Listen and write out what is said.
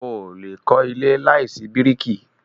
O o lè kọ́ ilé láìsí bíríkì.